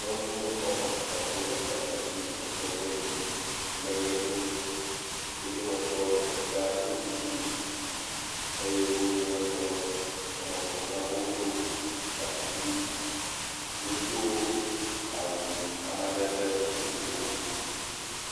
Nyɔnu woame etɔ̃ wole gbadza dzi le sɔgbe dzi le ʋe ɖum, wo dometɔ ɖeka ɖo kuku, eye wo dometɔ eve hã ɖo gaŋkui. Wodo awu amadede vovovowo.